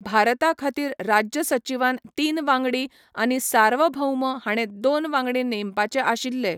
भारताखातीर राज्य सचिवान तीन वांगडी, आनी सार्वभौम हाणें दोन वांगडी नेमपाचे आशिल्ले.